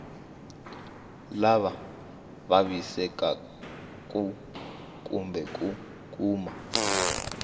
lava vavisekaku kumbe ku kuma